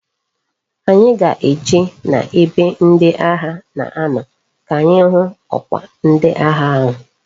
Anyi ga eje na ebe ndi agha na ano ka anyi hu okwa ndi agha ahu